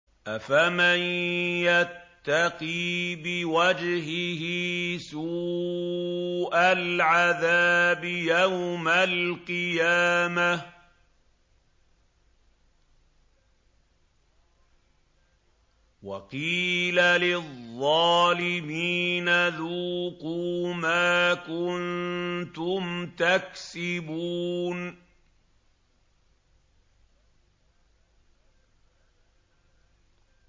أَفَمَن يَتَّقِي بِوَجْهِهِ سُوءَ الْعَذَابِ يَوْمَ الْقِيَامَةِ ۚ وَقِيلَ لِلظَّالِمِينَ ذُوقُوا مَا كُنتُمْ تَكْسِبُونَ